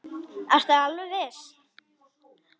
Ertu alveg viss?